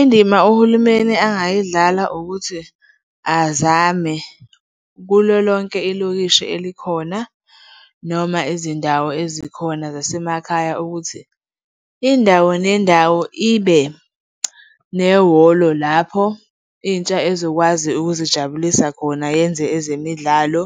Indima uhulumeni angayidlala ukuthi azame kulo lonke ilokishi elikhona noma izindawo ezikhona zasemakhaya, ukuthi indawo nendawo ibe nehholo lapho intsha ezokwazi ukuzijabulisa khona yenze ezemidlalo.